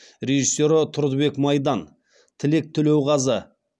режиссері тұрдыбек майдан тілек төлеуғазы